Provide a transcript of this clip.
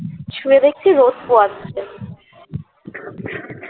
শুয়ে দেখছি রোদ পোয়াচ্ছে